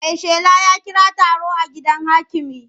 Maishela ya kira taro a gidan hakimi.